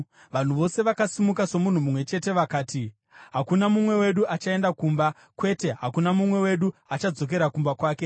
Vanhu vose vakasimuka somunhu mumwe chete vakati, “Hakuna mumwe wedu achaenda kumba. Kwete, hakuna mumwe wedu achadzokera kumba kwake.